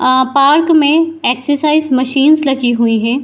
आ park में exercise machines लगी हुई है।